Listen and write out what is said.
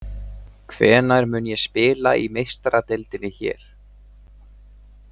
Hvenær mun ég spila í Meistaradeildinni hér?